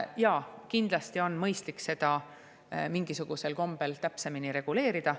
Jaa, kindlasti on mõistlik seda mingisugusel kombel täpsemini reguleerida.